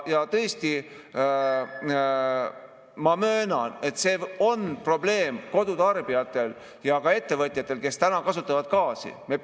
Ja tõesti, ma möönan, see on probleem kodutarbijatele ja ka ettevõtjatele, kes kasutavad gaasi.